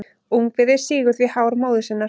Ungviðið sýgur því hár móður sinnar.